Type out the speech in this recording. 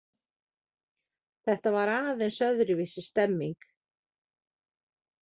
Þetta var aðeins öðruvísi stemming.